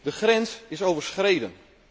De grens is overschreden.